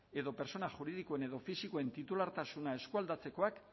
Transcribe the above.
edo pertsona juridikoen edo fisikoen titulartasuna eskualdatzekoak